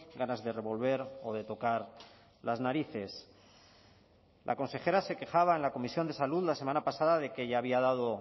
ganas de revolver o de tocar las narices la consejera se quejaba en la comisión de salud la semana pasada de que ya había dado